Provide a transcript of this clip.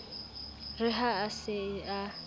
re ha a se a